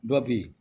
Dɔ bɛ yen